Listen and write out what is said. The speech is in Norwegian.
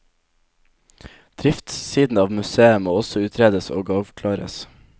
Driftssiden av museet må også utredes og avklares.